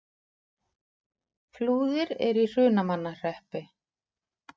Flúðir er í Hrunamannahreppi.